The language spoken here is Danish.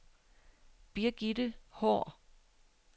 Birgitte Haahr